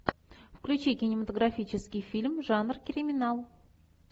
включи кинематографический фильм жанр криминал